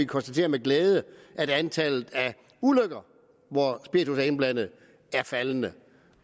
konstatere med glæde at antallet af ulykker hvor spiritus er indblandet er faldende